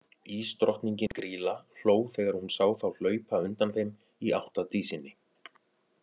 Ísdrottningin, Grýla, hló þegar hún sá þá hlaupa undan þeim í átt að Dísinni.